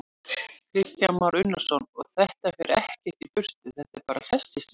Kristján Már Unnarsson: Og þetta fer ekkert í burtu, þetta bara festist við?